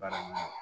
Barama